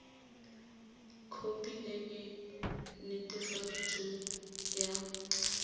khopi e e netefaditsweng ya